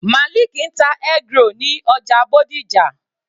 Maliki ń ta eggroll ní ọjà Bódìjà.